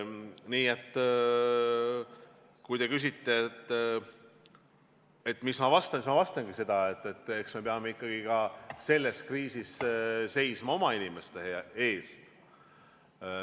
Nii et kui te küsite, mis ma vastan, siis ma vastangi seda, et eks me peame ikkagi ka selles kriisis seisma oma inimeste eest.